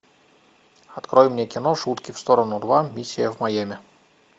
открой мне кино шутки в сторону два миссия в майами